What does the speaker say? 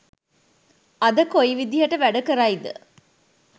අද කොයි විදිහට වැඩ කරයිද